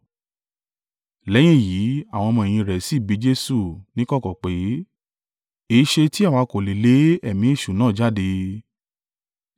Lẹ́yìn èyí, àwọn ọmọ-ẹ̀yìn rẹ̀ sì bi Jesu níkọ̀kọ̀ pé, “Èéṣe tí àwa kò lè lé ẹ̀mí èṣù náà jáde?”